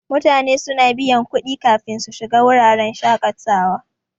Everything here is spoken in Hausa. Mutane suna biyan kudi kafin su shiga wuraren shaƙatawa.